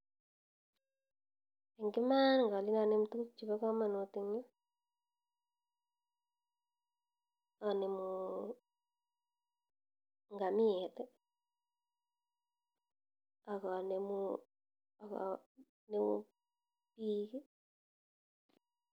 Eng imaan ngalen acher tukuk chebakamanut ing yuu anemuu ngamiet akanemuu biik